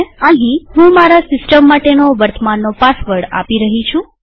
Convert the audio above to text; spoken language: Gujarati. અહીંહું મારા સિસ્ટમ માટેનો વર્તમાનનો પાસવર્ડ આપી રહી છું